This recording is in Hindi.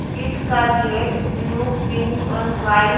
जिसका गेट ब्लू पिंक और वाइट --